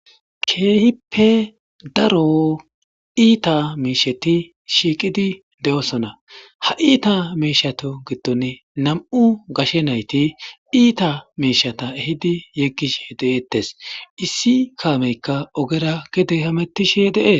keehippe daro iita miisheti shiiqidi de7osona ha iita miishato giddone nam7u gashe nayti iita miishata ehidi yeggish de7eettes issi kaameykka ogera gede hamettishe deee